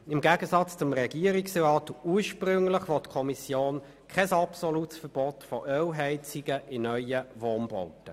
Im Gegensatz zum Regierungsantrag, will die Kommission kein absolutes Verbot von Ölheizungen bei neuen Wohnbauten.